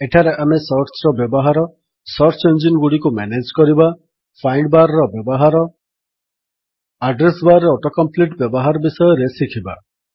ଏଠାରେ ଆମେ ସର୍ଚ୍ଚର ବ୍ୟବହାର ସର୍ଚ୍ଚ ଇଞ୍ଜିନ୍ ଗୁଡ଼ିକୁ ମ୍ୟାନେଜ୍ କରିବା ଫାଇଣ୍ଡ୍ ବାର୍ ର ବ୍ୟବହାର ଆଡ୍ରେସ୍ ବାର୍ ରେ ଅଟୋ କମ୍ପ୍ଲିଟ୍ ବ୍ୟବହାର ବିଷୟରେ ଶିଖିବା